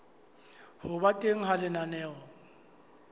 ho ba teng ha lenaneo